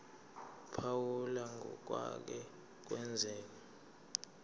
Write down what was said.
phawula ngokwake kwenzeka